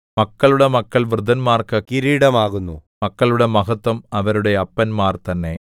മക്കളുടെ മക്കൾ വൃദ്ധന്മാർക്ക് കിരീടമാകുന്നു മക്കളുടെ മഹത്വം അവരുടെ അപ്പന്മാർ തന്നെ